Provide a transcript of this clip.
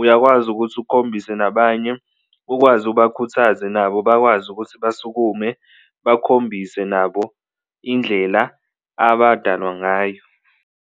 uyakwazi ukuthi ukhombise nabanye. Ukwazi ubakhuthaze nabo bakwazi ukuthi basukume bakhombise nabo indlela abadalwa ngayo.